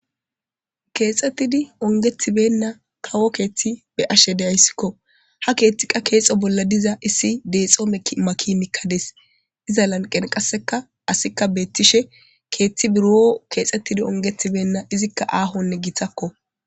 keexxettidi ongethibenna kawo keeththi be ashe deyayssikko ha keeththiqa keexo bolla diza issi deexoome maki mikkades iza lanqen qasseka asikka beettishe keeththi buroo keexettidi ongethibenna izikka aahonne giiththakko